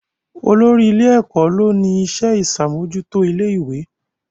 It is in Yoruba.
Olórí ilé-ẹ̀kọ́ ló ni iṣẹ́ ìṣàmójútó ilé ìwé